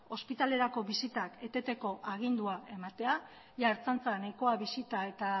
ospitalerako bisitak eteteko agindua ematea jada ertzaintza nahikoa bisita eta